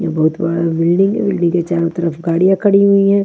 बहुत बड़ा बिल्डिंग है बिल्डिंग के चारों तरफ गाड़ियां खड़ी हुई है।